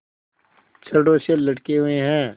छड़ों से लटके हुए हैं